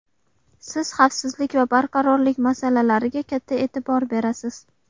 Siz xavfsizlik va barqarorlik masalalariga katta e’tibor berasiz.